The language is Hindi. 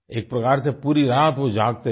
एक प्रकार से पूरी रात वो जागते रहे